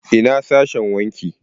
Ina sashen wanki?